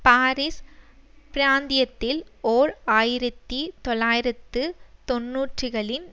Paris பிராந்தியத்தில் ஓர் ஆயிரத்தி தொள்ளாயிரத்து தொன்னூறுகளின்